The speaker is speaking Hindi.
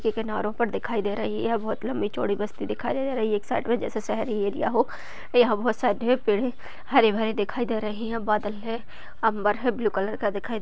के किनारो पर दिखाई दे रही है। बहुत लंबी चौड़ी बस्ती दिखाई दे रही है। एक साइड में जैसे शहरी एरिया हो। बोहोत सारे ढेर पेड़ है हरे भरे दिखाई दे रही है। बादल है अम्बर है ब्लू कलर का दिखाई --